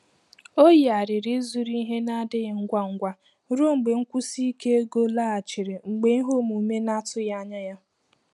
Ọ yigharịrị ịzụrụ ihe na-adịghị ngwa ngwa ruo mgbe nkwụsi ike ego laghachiri mgbe ihe omume na-atụghị anya ya.